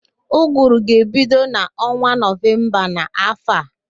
Ụgụrụ ga-ebido n'ọnwa Nọvemba n'áfọ̀ a